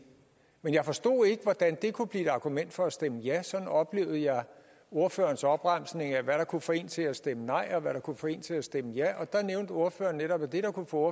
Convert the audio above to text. men jeg forstod ikke hvordan det kunne blive et argument for at stemme ja sådan oplevede jeg ordførerens opremsning af hvad der kunne få en til at stemme nej og hvad der kunne få en til at stemme ja der nævnte ordføreren netop at det der kunne få